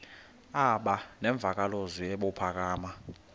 aba nemvakalozwi ebuphakama